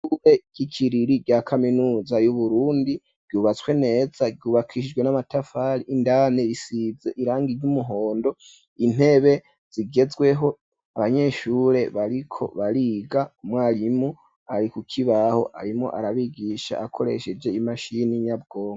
Ishure ryi kiriri rya kaminuza yu Burundi ryubatswe neza ryubakishijwe n'amatafari indane risize irangi ry'umuhondo intebe zigezweho abanyeshure bariko bariga umwarimu ari kukibaho arimo arabigisha akoresheje imashini nyabwonko.